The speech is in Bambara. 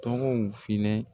Tɔgɔw filɛ.